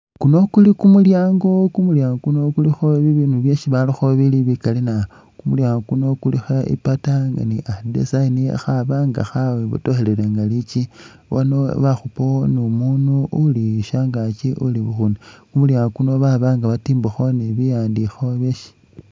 Kuno kuli kumulyaango, kumulyaango kuno kwesi barakho bibinu byesi barakho bili bikali nabi. Kumulyaango kuno kulikho ipata ni kha design khakhaba nga khabotokhelela nga liki. Wano bakhupakho ni umuunu uli shangaaki bukhuna. Kumulyaango kuno baba nga batimbakho ni biwandikho...